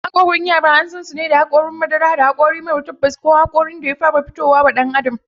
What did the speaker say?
Hokaran yara an sansu da hakorin madara, da hakori mara tabas ko hakorin da ya fara fito wa ɗan adam.